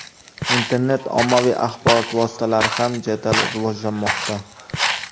Internet ommaviy axborot vositalari ham jadal rivojlanmoqda.